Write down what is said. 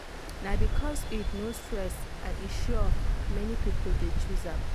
na because iud no stress and e sure many people dey choose am.